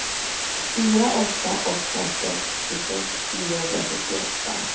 fyra åtta åtta sex tjugosex niohundrasjuttioåtta